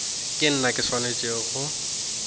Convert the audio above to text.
ke nna ke swanetšego go